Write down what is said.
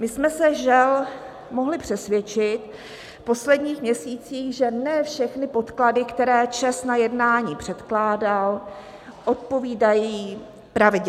My jsme se žel mohli přesvědčit v posledních měsících, že ne všechny podklady, které ČEZ na jednání předkládal, odpovídají pravdě.